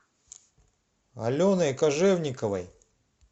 аленой кожевниковой